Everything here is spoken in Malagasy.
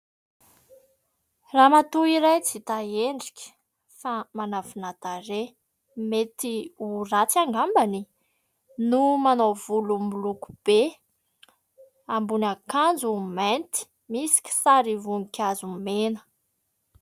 Ramatoa iray tsy hita endrika fa manafina tarehy mety ho ratsy angambany no manao volo miloko be ambony akanjo mainty misy kisary voninkazo mena.